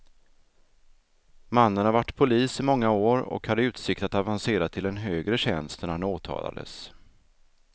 Mannen har varit polis i många år och hade utsikt att avancera till en högre tjänst när han åtalades.